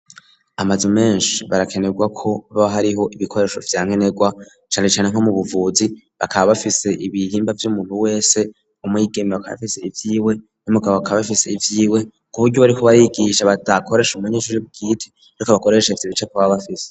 Amazu menshi barakenerwako ba hariho ibikoresho vyankenegwa cane cane nko mu buvuzi bakaba bafise ibihimba vy'umuntu wese umwigeme bakaba bafise ivyiwe n'umugabo bakab bafise ivyiwe kuburyo bariko barigisha batakoresha umunyeshure bwite ariko bakoresha ivyo bice baba bafise.